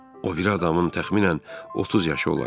O biri adamın təxminən 30 yaşı olardı.